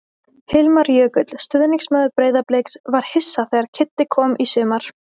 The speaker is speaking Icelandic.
Hilmar Jökull, stuðningsmaður Breiðabliks: Var hissa þegar Kiddi kom í sumar.